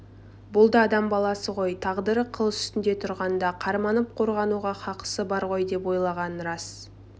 бұл да адам баласы ғой тағдыры қыл үстінде тұрғанда қарманып қорғануға хақысы бар ғой деп ойлаған емес